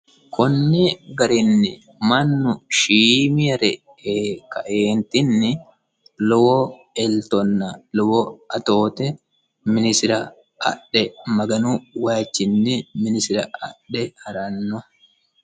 konni garinni mannu shiimaree ee kaeentinni lowo eltonna lowo atoote minisira adhe maganu wayiichinni minisira adhe haranno.